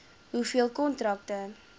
hoeveel kontrakte